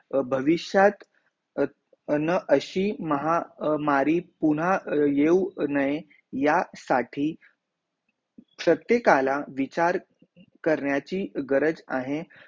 भविष्यात अन अशी महामारी पूण येऊ नाही या साथी प्रत्येकाला विचार करण्याची गरज आहे